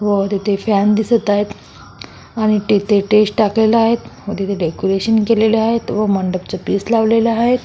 व तिथे फॅन दिसत आहेत आणि तिथे स्टेज टाकलेल आहे व तिथे डेकोरेशन केलेले आहेत व मंडपच पीस लावलेले आहेत.